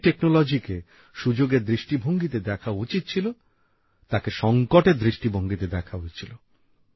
যে প্রযুক্তিকে সুযোগের দৃষ্টিভঙ্গিতে দেখা উচিৎ ছিল তাকে সংকটের দৃষ্টিভঙ্গিতে দেখা হয়েছিল